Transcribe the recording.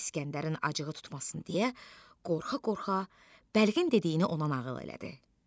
İskəndərin acığı tutmasın deyə qorxa-qorxa bəlgin dediyini ona nağıl elədi.